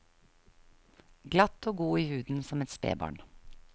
Glatt og god i huden som et spebarn.